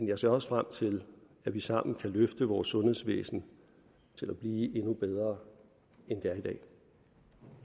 jeg ser også frem til at vi sammen kan løfte vores sundhedsvæsen til at blive endnu bedre end det er i dag